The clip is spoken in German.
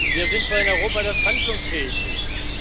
Wir sind für ein Europa, das handlungsfähig ist.